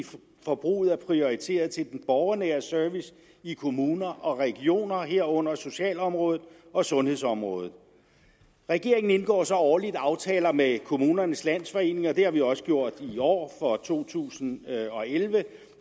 forbruget er prioriteret til den borgernære service i kommuner og regioner herunder socialområdet og sundhedsområdet regeringen indgår så årligt aftaler med kommunernes landsforening og det har vi også gjort i år for to tusind og elleve